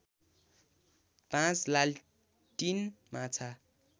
५ लालटिन माछा